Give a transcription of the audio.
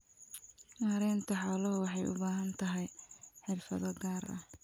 Maareynta xooluhu waxay u baahan tahay xirfado gaar ah.